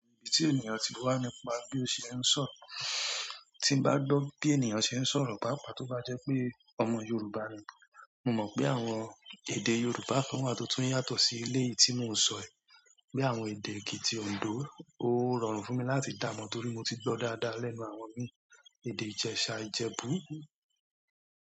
Ìdí tí ènìyàn ti wà nípa bí ó ṣe ń sọ̀rọ̀. Tí n bá gbọ́ bí ènìyàn ṣe ń sọ̀rọ̀ pàápàá tó bá jẹ́ pé ọmọ Yorùbá ni. Mo mọ̀ pé àwọn èdè Yorùbá kan wà tó tún yàtọ̀ sí eléyìí tí mò ń sọ yí. Bí i àwọn èdè Èkìtì, Òǹdó. Ó rọrùn fún mi láti dá mọ̀ torí mo ti gbọ́ ọ dáadáa lẹ́nu àwọn ìmí. Èdè Ìjẹ̀sà, Ìjẹ̀bú.